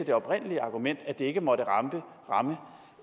det oprindelige argument at det ikke måtte ramme